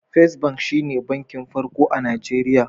First Bank shi ne bankin farko a Najeriya.